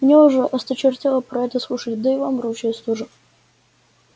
мне уже осточертело про это слушать да и вам ручаюсь тоже